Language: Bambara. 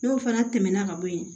N'o fana tɛmɛna ka bɔ yen